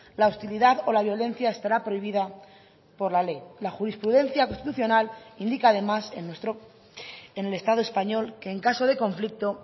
la hostilidad o la violencia estará prohibida por la ley la jurisprudencia constitucional indica además en nuestro en el estado español que en caso de conflicto